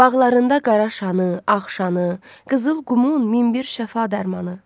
Bağlarında qara şanı, ağ şanı, qızıl qumun min bir şəfa dərmanı.